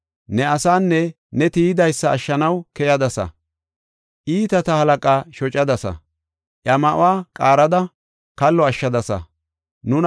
Ne asaanne ne tiyidaysa ashshanaw keyadasa; iitata halaqaa shocadasa; iya ma7uwa qaarada kallo ashshadasa. Salaha